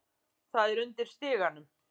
Það er undir stiganum.